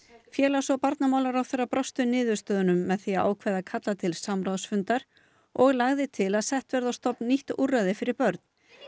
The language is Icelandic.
félags og barnamálaráðherra brást við niðurstöðunum með því að ákveða að kalla til samráðsfundar og lagði til að sett verði á stofn nýtt úrræði fyrir börn